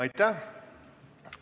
Aitäh!